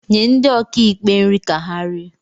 nye ndi okaikpé nri ka ha rie